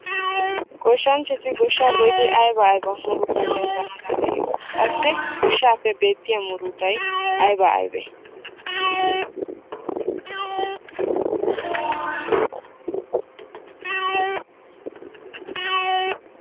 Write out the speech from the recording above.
Goshshanchchati goshshaa goyidi ayba murutaa demmanawu danddayiyona? Qassi goshshaappe beetiya murutay aybee aybee?